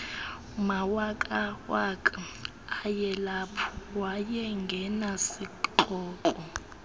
mawakawaka ayelapho wayengenasikrokro